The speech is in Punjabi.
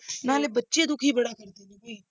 ਨਾਲੇ ਬੱਚੇ ਦੁੱਖੀ ਬੜਾ ਕਰ ਦਿੰਦੇ ਨੇ।